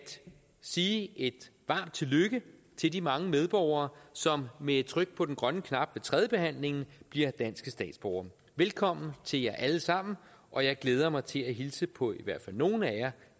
sige et varmt tillykke til de mange medborgere som med et tryk på den grønne knap ved tredjebehandlingen bliver danske statsborgere velkommen til jer alle sammen og jeg glæder mig til at hilse på i hvert fald nogle af jer